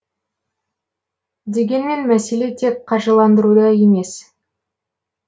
дегенмен мәселе тек қаржыландыруда емес